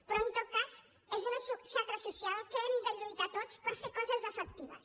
però en tot cas és una xacra social que hem de lluitar tots per fer coses efectives